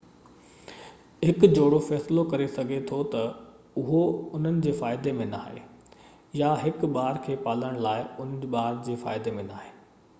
هڪ جوڙو فيصلو ڪري سگهي ٿو ته اهو انهن جي فائدي ۾ ناهي يا هڪ ٻار کي پالڻ لاءِ انهن جي ٻار جي فائدي ۾ ناهي